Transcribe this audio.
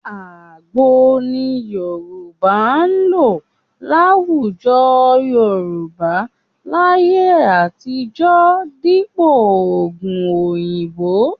Àgbo ni Yorùbá ń lò láwùjọ Yorùbá láyé àtijọ́ dípò oògùn òyìnbó